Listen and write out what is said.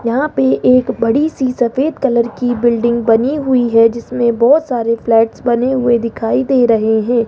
यहां पे एक बड़ी सी सफेद कलर की बिल्डिंग बनी हुई है जिसमें बहोत सारे फ्लैट्स बने हुए दिखाई दे रहे हैं।